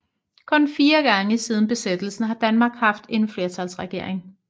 Kun 4 gange siden Besættelsen har Danmark haft en flertalsregering